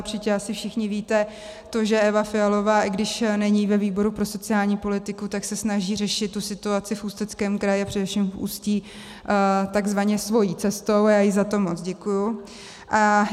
Určitě asi všichni víte to, že Eva Fialová, i když není ve výboru pro sociální politiku, tak se snaží řešit tu situaci v Ústeckém kraji a především v Ústí takzvaně svou cestou a já jí za to moc děkuji.